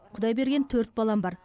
құдай берген төрт балам бар